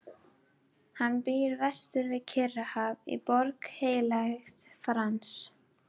Hann býr vestur við Kyrrahaf í Borg Heilags Frans.